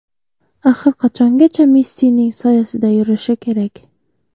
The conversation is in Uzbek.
Axir qachongacha Messining soyasida yurishi kerak?